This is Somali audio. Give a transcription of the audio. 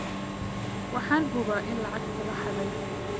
Waxaan hubaa in lacagta la xaday